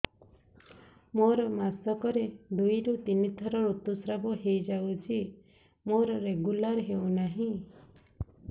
ମୋର ମାସ କ ରେ ଦୁଇ ରୁ ତିନି ଥର ଋତୁଶ୍ରାବ ହେଇଯାଉଛି ମୋର ରେଗୁଲାର ହେଉନାହିଁ